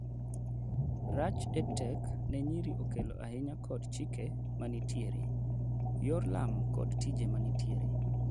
rach EdTech ne nyiri okelo ahinya kod chike manitiere, yor lamo kod tije manitiere